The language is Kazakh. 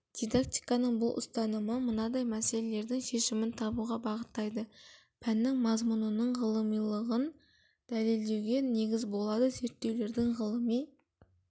дидактиканың бұл ұстанымы мынадай мәселелердің шешімін табуға бағыттайды пәннің мазмұнының ғылымилығын дәлелдеуге негіз болады зерттеулердің ғылыми